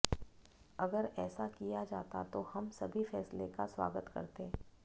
अगर ऐसा किया जाता तो हम सभी फैसले का स्वागत करते